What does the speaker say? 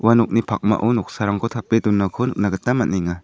ua nokni pakmao noksarangko tape donako nikna gita man·enga.